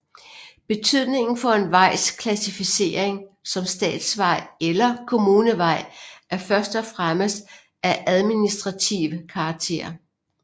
Betydningen for en vejs klassificering som statsvej eller kommunevej er først og fremmest af administrativ karakter